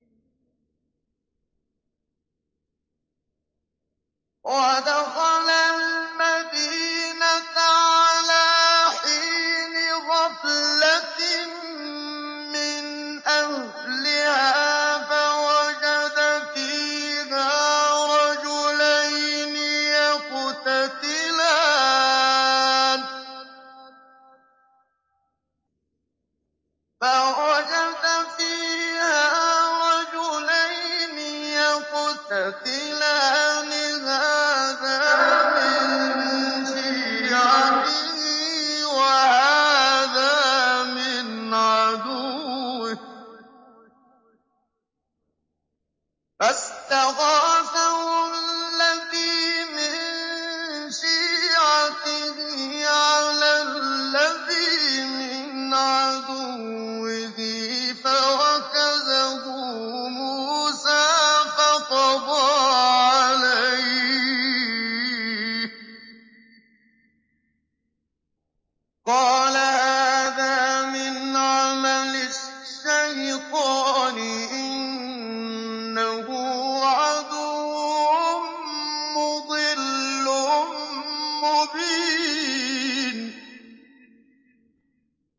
وَدَخَلَ الْمَدِينَةَ عَلَىٰ حِينِ غَفْلَةٍ مِّنْ أَهْلِهَا فَوَجَدَ فِيهَا رَجُلَيْنِ يَقْتَتِلَانِ هَٰذَا مِن شِيعَتِهِ وَهَٰذَا مِنْ عَدُوِّهِ ۖ فَاسْتَغَاثَهُ الَّذِي مِن شِيعَتِهِ عَلَى الَّذِي مِنْ عَدُوِّهِ فَوَكَزَهُ مُوسَىٰ فَقَضَىٰ عَلَيْهِ ۖ قَالَ هَٰذَا مِنْ عَمَلِ الشَّيْطَانِ ۖ إِنَّهُ عَدُوٌّ مُّضِلٌّ مُّبِينٌ